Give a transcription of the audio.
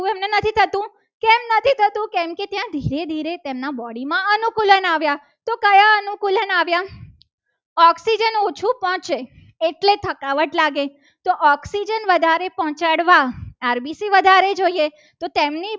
ધીરે ધીરે તેમના body માં અનુકૂલન આવ્યા તો કયા અનુકૂલન આવ્યા oxygen ઓછું પહોંચે. એટલે થકાવટ લાગે તો oxygen વધારે પહોંચાડવા rbc વધારે જોઈએ. તો તેમની